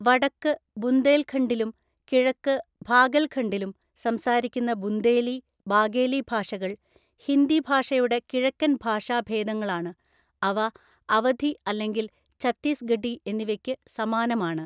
വടക്ക് ബുന്ദേൽഖണ്ഡിലും കിഴക്ക് ഭാഗെൽഖണ്ഡിലും സംസാരിക്കുന്ന ബുന്ദേലി, ബാഗേലി ഭാഷകൾ; ഹിന്ദി ഭാഷയുടെ കിഴക്കൻ ഭാഷാഭേദങ്ങളാണ്, അവ അവധി അല്ലെങ്കിൽ ഛത്തീസ്ഗഢി എന്നിവയ്ക്ക് സമാനമാണ്.